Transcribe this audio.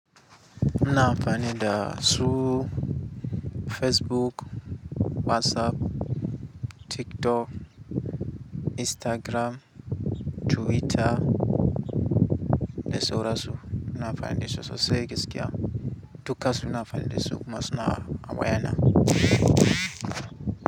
Muna amfani da su Facebook, WhatsApp, TikTok, Instagram, Twitter da saura su. Muna amfani da su sosai gaskiya. Dukansu na amfani da su kuma suna awayana.